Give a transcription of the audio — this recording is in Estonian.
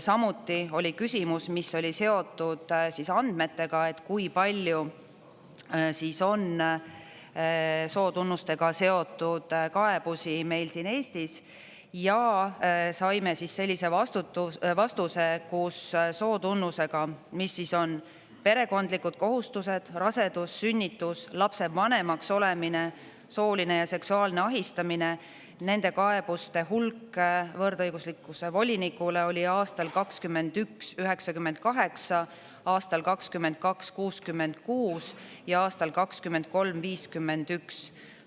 Samuti oli küsimus, mis oli seotud andmetega, et kui palju siis on sootunnustega seotud kaebusi meil siin Eestis, ja saime sellise vastuse, et koos sootunnusega, mis siis on perekondlikud kohustused, rasedus-sünnitus, lapsevanemaks olemine, sooline ja seksuaalne ahistamine – nende kaebuste hulk võrdõiguslikkuse volinikule oli aastal 2921 kokku 98, aastal 2022 kokku 66 ja aastal 2023 kokku 51.